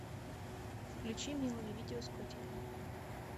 включи милое видео с котиками